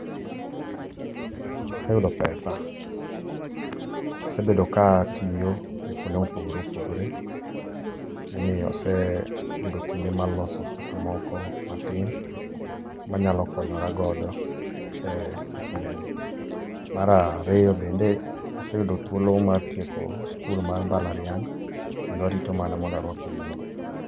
Aseyudo pesa. Asebedo ka atiyo kuonde mopogore opogore momiyo aseyudo kinde mar loso pesa moko matin manyalo konyora godo e kindeni. Mar ariyo bende aseyudo thuolo mar tieko skul mar mbalariany, kendo arito mana mondo aruak ogudu.